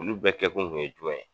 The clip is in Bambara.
Olu bɛɛ kɛkun kun ye jumɛn ye?